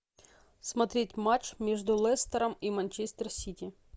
смотреть матч между лестером и манчестер сити